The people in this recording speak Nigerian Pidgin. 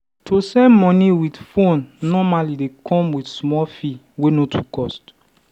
to send money with phone normally dey come with small fee wey no too cost.